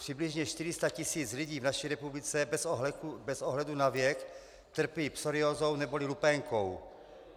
Přibližně 400 tisíc lidí v naší republice bez ohledu na věk trpí psoriázou neboli lupénkou.